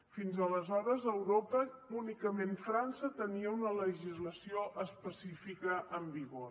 fins aleshores a europa únicament frança tenia una legislació específica en vigor